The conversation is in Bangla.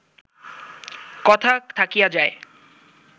কথা থাকিয়া যায়